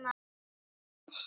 Já, ansi mikið.